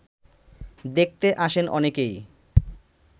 দেখতে আসেন অনেকেই